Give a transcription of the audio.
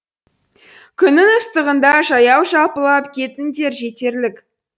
күннің ыстығында жаяу жалпылап кетіңдер жетерлік